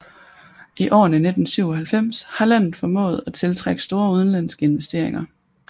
I årene siden 1997 har landet formået at tiltrække store udenlandske investeringer